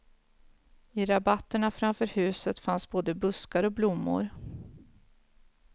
I rabatterna framför huset fanns både buskar och blommor.